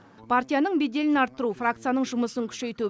партияның беделін арттыру фракцияның жұмысын күшейту